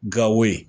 Gawo yen